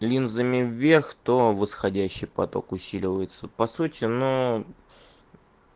линзами верх то восходящий поток усиливается по сути нуу